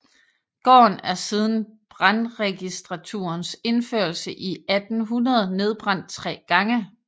Gården er siden brandregistraturens indførelse i 1800 nedbrændt tre gange